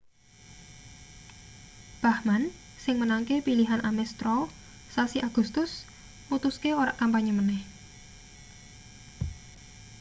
bachmann sing menangke pilihan ames straw sasi agustus mutuske ora kampanye maneh